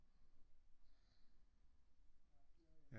Ja